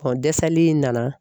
dɛsɛli in nana